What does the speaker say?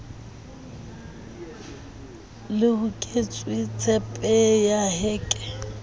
le hoketsweng tshepeng ya heke